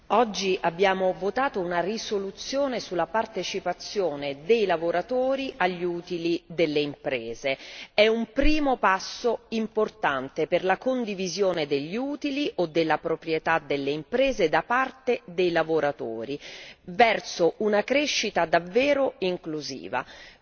Signor Presidente, oggi abbiamo votato una risoluzione sulla partecipazione dei lavoratori agli utili delle imprese. È un primo passo importante per la condivisione degli utili o della proprietà delle imprese da parte dei lavoratori, verso una crescita davvero inclusiva.